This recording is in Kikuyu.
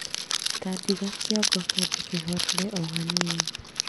Tandiga kiongo kiambe kihorere ohanini